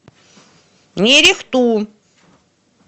нерехту